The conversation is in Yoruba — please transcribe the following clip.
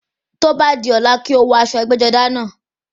Tó bá di ọ̀la, kó o wọ aṣọ ẹgbẹ́-jọdá náà.